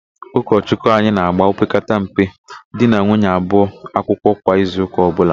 Ụkọchụkwụ anyị na-ágbà opekata mpe di na nwunye abụọ akwụkwọ kwa izuụka ọbụla.